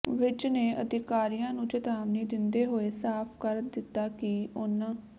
ਵਿੱੱਜ ਨੇ ਅਧਿਕਾਰੀਆਂ ਨੂੰ ਚੇਤਾਵਨੀ ਦਿੰਦੇ ਹੋਏ ਸਾਫ਼ ਕਰ ਦਿੱਤਾ ਕਿ ਉਨ੍ਹਾਂ